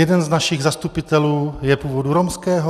Jeden z našich zastupitelů je původu romského.